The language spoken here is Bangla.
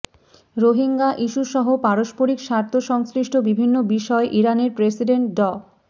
রোহিঙ্গা ইস্যুসহ পারস্পারিক স্বার্থ সংশ্লিষ্ট বিভিন্ন বিষয়ে ইরানের প্রেসিডেন্ট ড